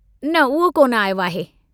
न उहो कोन आयो आहे।